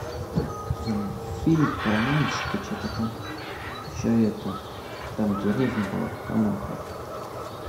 фильм про мальчика что то там еще это там деревня была коноха